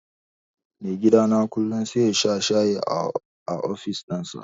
Maigidana kullum sai yasha shayi a ofis ɗinsa.